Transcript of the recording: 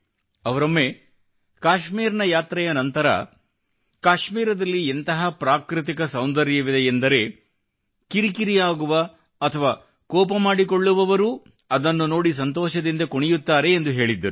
ಅವರೊಮ್ಮೆ ಕಾಶ್ಮೀರ್ ನ ಯಾತ್ರೆಯ ನಂತರ ಕಾಶ್ಮೀರದಲ್ಲಿ ಎಂತಹ ಪ್ರಾಕೃತಿಕ ಸೌಂದರ್ಯವಿದೆಯೆಂದರೆ ಅದನ್ನು ನೋಡಿ ಕಿರಿಕಿರಿ ಆಗುವ ಅಥವಾ ಕೋಪಮಾಡಿಕೊಳ್ಳುವವರೂ ಸಂತೋಷದಿಂದ ಕುಣಿಯುತ್ತಾರೆ ಎಂದು ಹೇಳಿದ್ದರು